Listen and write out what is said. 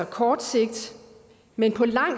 kort sigt men på lang